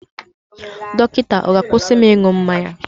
Dọkịta ọ̀ ga-akwụsị m ịṅụ mmanya?